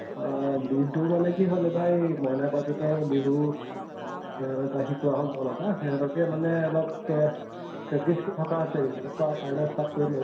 অহ বিহু মানে কি হʼল এবাৰ এই মইনা পাৰিজাতৰ বিহু ত তা শিকোৱা হʼল দল এটা, সেহঁতকে মানে অলপ পে practice কৰি থকা হৈছে এই কেইদিন। তাৰপা কাইলৈ start কৰিম আৰু